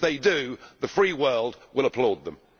If they do, the free world will applaud them.